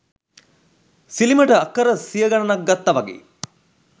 සිලිමට අක්කර සිය ගණනක් ගත්ත වගේ.